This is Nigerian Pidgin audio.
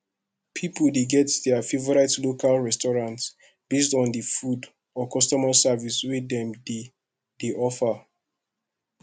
pipo de get their favorite local restaurant based on di food or customer service wey dem de de offer